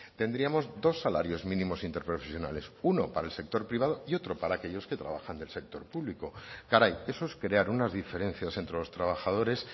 tendríamos dos salarios mínimos interprofesionales uno para el sector privado y otro para aquellos que trabajan del sector público caray eso es crear unas diferencias entre los trabajadores